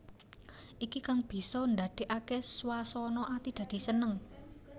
Iki kang bisa ndadèkaké swasana ati dadi seneng